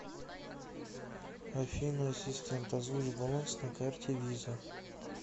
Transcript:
афина ассистент озвучь баланс на карте виза